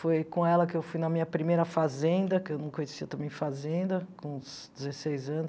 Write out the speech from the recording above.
Foi com ela que eu fui na minha primeira fazenda, que eu não conhecia também fazenda, com uns dezesseis anos.